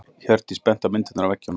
Hjördís benti á myndirnar á veggjunum.